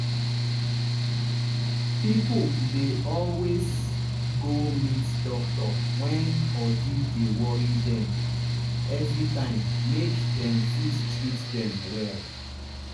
pipo dey always go meet doctor wen body dey worry dem everytime make dem fit treat them well.